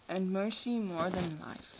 and mercy more than life